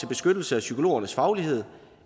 beskyttelse af psykologernes faglighed